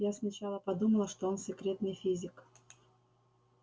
я сначала подумала что он секретный физик